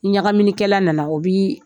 Ni ɲagaminikɛla nana o biII